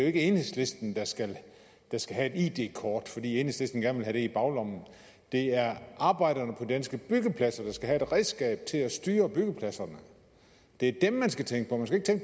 ikke enhedslisten der skal skal have et id kort fordi enhedslisten gerne vil have det i baglommen det er arbejderne på danske byggepladser der skal have et redskab til at styre byggepladserne det er dem man skal tænke